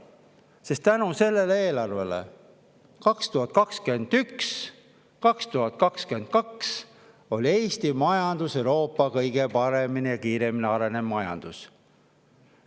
Sest tänu sellele eelarvele, 2021–2022, oli Eesti majandus Euroopa kõige paremini ja kiiremini arenev majandus.